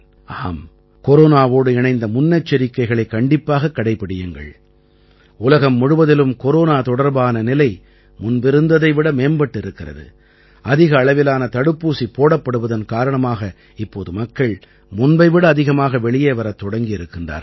ஆம் கொரோனாவோடு இணைந்த முன்னெச்சரிக்கைகளைக் கண்டிப்பாகக் கடைப்பிடியுங்கள் உலகம் முழுவதிலும் கொரோனா தொடர்பான நிலை முன்பிருந்ததை விட மேம்பட்டிருக்கிறது அதிக அளவிலான தடுப்பூசி போடப்படுவதன் காரணமாக இப்போது மக்கள் முன்பை விட அதிகமாக வெளியே வரத் தொடங்கி இருக்கிறார்கள்